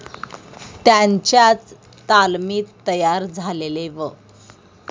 त्यांच्याच तालमीत तयार झालेले व.